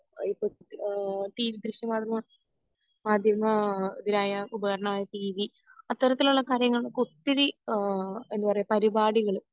ഇപ്പൊ ഈഹ് ടി ദൃശ്യ മാധ്യമങ്ങൾ മാധ്യമ ഇതിനായ ഉപകരണമായ ടീവി അത്തരത്തിലുള്ള കാര്യങ്ങൾ ഒത്തിരി ആഹ് എന്താ പറയെ പരുപാടികൾ